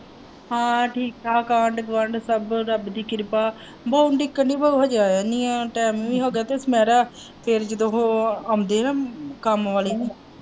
ਹਾਂ ਠੀਕ ਠਾਕ ਹੈ ਆਂਡ ਗੁਆਂਢ ਸਭ ਤੇ ਰੱਬ ਦੀ ਕਿਰਪਾ ਹੈ ਬਉ ਨੂੰ ਉੱਡੀਕਣ ਦੀ ਬਉ ਹਜੇ ਆਇਆ ਨਹੀਂ ਹੈ time ਵੀ ਹੋ ਗਿਆ ਆਉਂਦੇ ਹੈ ਕੰਮ ਵਾਲੇ।